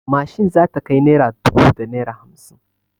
Mashin za ta kai naira dubu da naira hamsin.